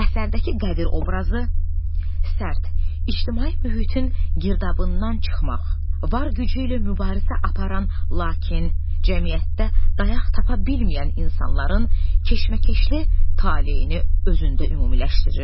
Əsərdəki Qədir obrazı sərt, ictimai mühitin girdabından çıxmaq, var gücü ilə mübarizə aparan, lakin cəmiyyətdə dayaq tapa bilməyən insanların keşməkeşli taleyini özündə ümumiləşdirir.